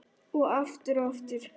Og aftur og aftur.